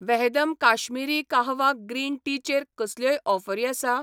वहदम Kashmiri kahwa green tea चेर कसल्योय ऑफरी आसा ?